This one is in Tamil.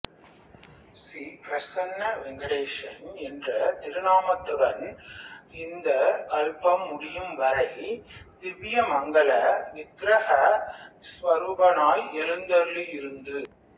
ஸ்ரீ பிரஸன்ன வேங்கடேசன் என்ற திருநாமத்துடன் இந்த கல்பம் முடியும் வரை திவ்யமங்கள விக்ரஹ ஸ்வருபனாய் எழுந்தளியிருந்து